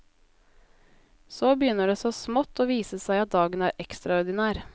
Så begynner det så smått å vise seg at dagen er ekstraordinær.